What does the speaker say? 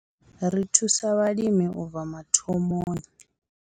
Ri thusa vhalimi u tou bva mathomoni.